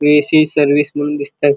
AC. Service म्हणुन दिसतात.